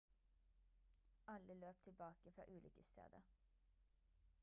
alle løp tilbake fra ulykkesstedet